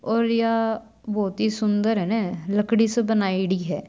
और या बहुत ही सुन्दर अने लकड़ी सु बनायेड़ी हैं।